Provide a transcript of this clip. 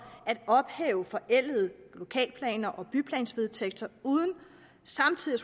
at ophæve forældede lokalplaner og byplansvedtægter uden samtidig